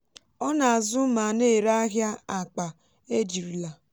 ọ na-azụ ma n'èré ahịa akpa ejirila